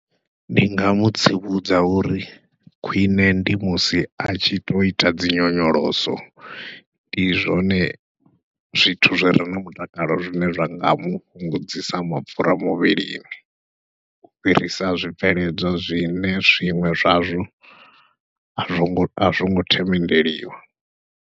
Ndi nga mutsivhudza uri khwiṋe ndi musi a tshi to ita dzinyonyoloso, ndi zwone zwithu zwire na mutakalo zwine zwa nga mufhungudzisa mapfhura muvhilini, u fhirisa zwibveledzwa zwine zwiṅwe zwazwo azwongo themendeliwa.